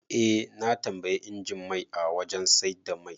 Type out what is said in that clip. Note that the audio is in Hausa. Eh, na tambayi injin mai a wajan saida mai